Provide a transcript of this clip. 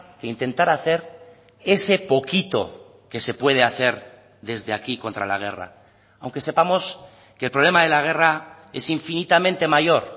que intentar hacer ese poquito que se puede hacer desde aquí contra la guerra aunque sepamos que el problema de la guerra es infinitamente mayor